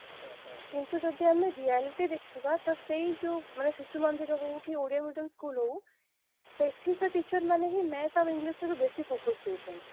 ହଁ ହଁ ହଁ କିନ୍ତୁ ଯଦି ଆମେ reality ଦେଖିବା ତ ସେଇ ଯଉ ମାନେ ଶିଶୁ ମନ୍ଦିର ହଉ କି ଓଡିଆ medium school ହଉ ସେଠି ସେ teacher ମାନେ math ଆଉ english ରେ ବେଶୀ focus ଦେଉଛନ୍ତି